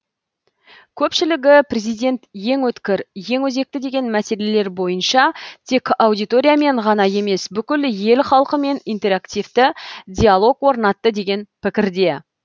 көпшілігі президент ең өткір ең өзекті деген мәселелер бойынша тек аудиториямен ғана емес бүкіл ел халқымен интерактивті диалог орнатты деген пікірде